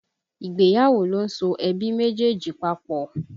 Ìgbéyàwó ló ń so ẹbí méjèèjì papọ̀